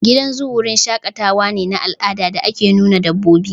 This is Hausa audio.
Gidan zoo wurin shaƙatawa ne na al'ada da ake nuna dabbobi